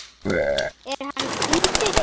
Er hann týndur?